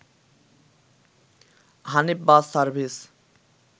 Hanif bus service